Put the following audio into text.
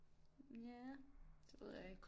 Ja det ved jeg ikke